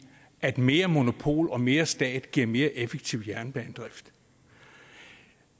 at mere monopol og mere stat giver mere effektiv jernbanedrift